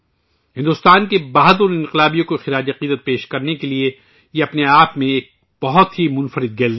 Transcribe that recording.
بھارت کے بہادر انقلابیوں کو خراج عقیدت پیش کرنے کے لئے ، یہ اپنے آپ میں ایک بہت ہی منفرد گیلری ہے